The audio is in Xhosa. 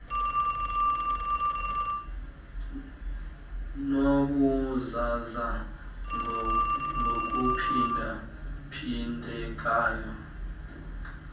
nobuzaza ngokuphinda phindeka